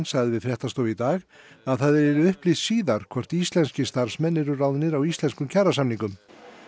sagði við fréttastofu í dag að það yrði upplýst síðar hvort íslenskir starfsmenn yrðu ráðnir á íslenskum kjarasamningum